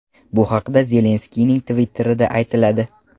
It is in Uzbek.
Bu haqda Zelenskiyning Twitter’ida aytiladi .